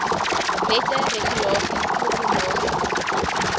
wette regulasies proklamasies